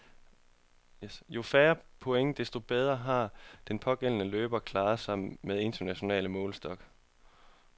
Jo færre point, desto bedre har den pågældende løber klaret sig med international målestok.